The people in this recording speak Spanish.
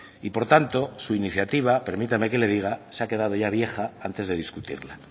y por tanto su iniciativa permítame que le diga se ha quedado ya vieja antes de discutirla